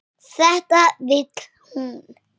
Þetta vill hún.